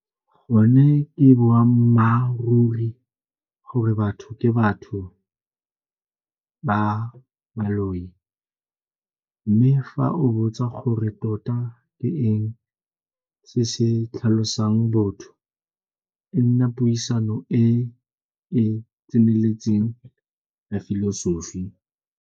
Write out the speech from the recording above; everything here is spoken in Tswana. Gone ke boammaaruri gore batho ke batho ba mme fa o botsa gore tota ke eng se se tlhalosang botho e nna puisano e e tseneletseng ya filosofi.